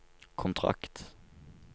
kontrakt